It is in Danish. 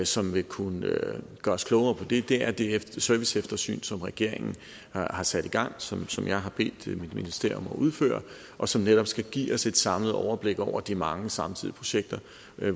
som vil kunne gøre os klogere på det det er det serviceeftersyn som regeringen har sat i gang som som jeg har bedt mit ministerium om at udføre og som netop skal give os et samlet overblik over de mange samtidige projekter